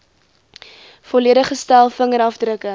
volledige stel vingerafdrukke